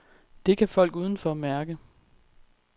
Det kan folk udenfor mærke.